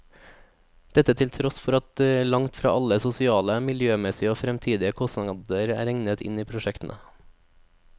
Dette til tross for at langt fra alle sosiale, miljømessige og fremtidige kostnader er regnet inn i prosjektene.